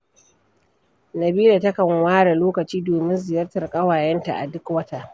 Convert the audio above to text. Nabila takan ware lokaci domin ziyartar ƙawayenta a duk wata.